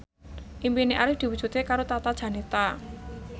impine Arif diwujudke karo Tata Janeta